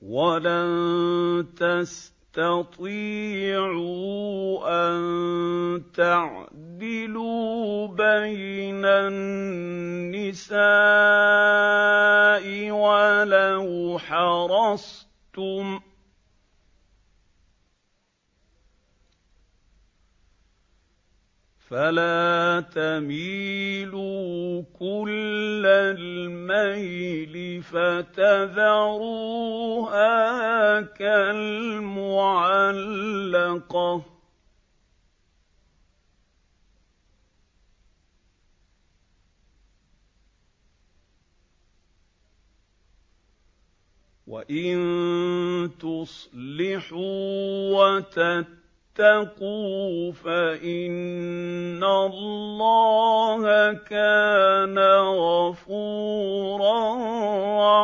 وَلَن تَسْتَطِيعُوا أَن تَعْدِلُوا بَيْنَ النِّسَاءِ وَلَوْ حَرَصْتُمْ ۖ فَلَا تَمِيلُوا كُلَّ الْمَيْلِ فَتَذَرُوهَا كَالْمُعَلَّقَةِ ۚ وَإِن تُصْلِحُوا وَتَتَّقُوا فَإِنَّ اللَّهَ كَانَ غَفُورًا